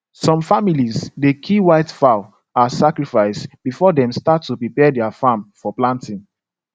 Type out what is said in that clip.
some families dey kill white fowl as sacrifice before dem start to prepare their farm for planting